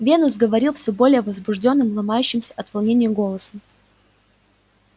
венус говорил всё более возбуждённым ломающимся от волнения голосом